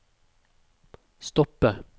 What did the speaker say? stoppe